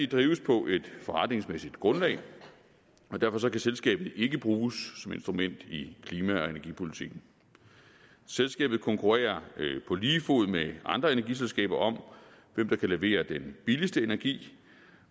drives på et forretningsmæssigt grundlag og derfor kan selskabet ikke bruges som instrument i klima og energipolitikken selskabet konkurrerer på lige fod med andre energiselskaber om hvem der kan levere den billigste energi